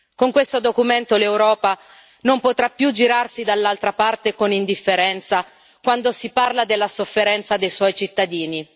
Con questo documento l'Europa non potrà più girarsi dall'altra parte con indifferenza quando si parla della sofferenza dei suoi cittadini.